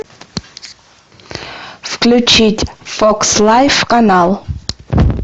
включить фокс лайв канал